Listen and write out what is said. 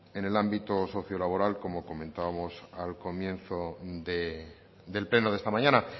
en el ámbito sociolaboral como comentábamos al comienzo del pleno de esta mañana